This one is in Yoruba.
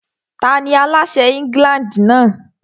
Tani aláṣẹ England náà?